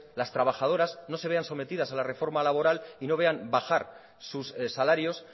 las trabajadoras no se vean sometidas a la reforma laboral y no vean bajar sus salarios